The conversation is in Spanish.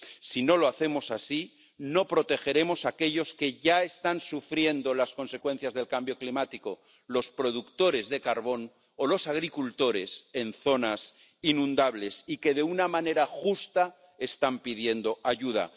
Si no lo hacemos así, no protegeremos a aquellos que ya están sufriendo las consecuencias del cambio climático los productores de carbón o los agricultores de zonas inundables y que de una manera justa están pidiendo ayuda.